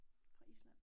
Fra Island